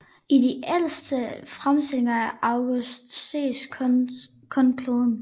I de ældste fremstillinger af Augustus ses kun kloden